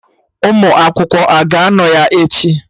Ụmụ akwụkwọ a ga-anọ ya echi?